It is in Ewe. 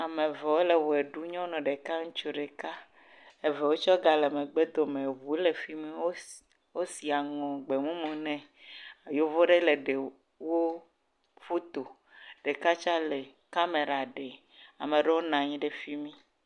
Ame ve wole woe ɖum. Nyɔnu ɖeka, ŋutsu ɖeka. Evewo tsɛ gale megbedome. Eŋuwo le fi mi. Wosi, wosi aŋɔ gbemumu nɛ. Yevo ɖe le ɖe wo foto. Ɖeka tsa le kamera ɖe. Ame ɖewo na nyi ɖe fi mi